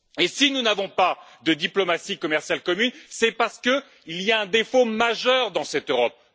Si nous n'avons pas de diplomatie commerciale commune, c'est parce qu'il y a un défaut majeur dans cette Europe.